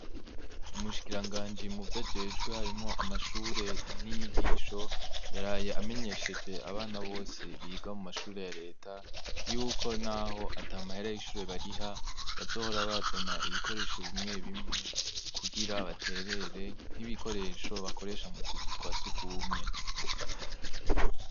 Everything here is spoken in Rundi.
Umushikiranganji muvyo ajejwe harimwo amashure n'inyigisho, yaraye amenyesheje abana bose biga mu mashure ya Leta, yuko naho at'amahera y'ishure bariha, bazohora barazana ikikoresho vy'ishure bimwe bimwe, kugira baterere nk'ibikoresho bakoresha mutuzu twa sugumwe.